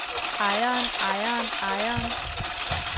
ejeren ejeren ejeren